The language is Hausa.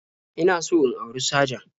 In so in auri sajan